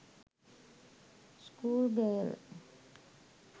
school girl